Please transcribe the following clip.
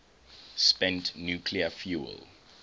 spent nuclear fuel